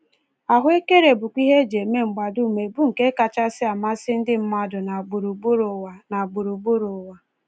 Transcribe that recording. Ahụekere bụkwa ihe e ji eme mgbadume bụ nke kachasị amasị ndị mmadụ na gburugburu ụwa. na gburugburu ụwa.